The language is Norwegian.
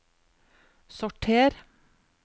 sorter